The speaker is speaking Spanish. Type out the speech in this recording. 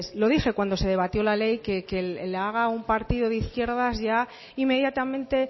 lo dije cuando se debatió la ley que la haga un partido de izquierdas ya inmediatamente